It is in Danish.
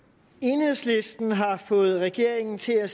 enhedslisten har fået regeringen til at